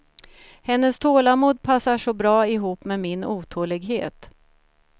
Hennes tålamod passar så bra ihop med min otålighet.